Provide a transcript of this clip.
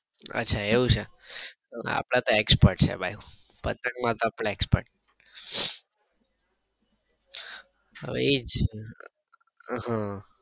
અચ્છા એવું છે અપડે તો expert છે ભાઈ પતંગ માં તો અપડે expert હા એઈજ